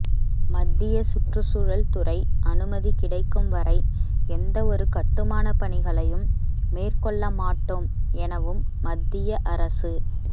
மத்திய சுற்றுச்சூழல் துறை அனுமதி கிடைக்கும் வரை எந்தவொரு கட்டுமான பணிகளையும் மேற்கொள்ள மாட்டோம் எனவும் மத்திய அரசு